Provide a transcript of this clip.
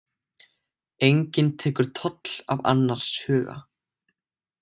Enginn tekur toll af annars huga.